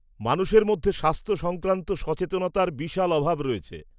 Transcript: -মানুষের মধ্যে স্বাস্থ্য সংক্রান্ত সচেতনতার বিশাল অভাব রয়েছে।